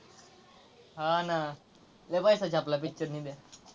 हा ना लय पैसा छापला picture ने त्या.